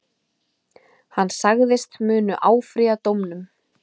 Hann sagðist munu áfrýja dómnum